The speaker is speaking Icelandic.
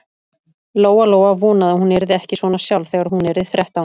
Lóa-Lóa vonaði að hún yrði ekki svona sjálf þegar hún yrði þrettán.